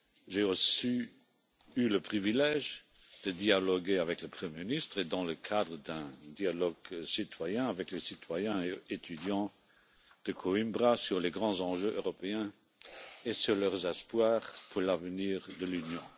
J'ai aussi eu le privilège de dialoguer avec le Premier ministre et dans le cadre d'un dialogue citoyen avec les citoyens étudiants de Coimbra sur les grands enjeux européens et sur leurs espoirs pour l'avenir de l'Union.